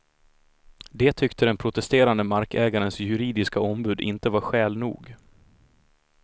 Det tyckte den protesterande markägarens juridiska ombud inte var skäl nog.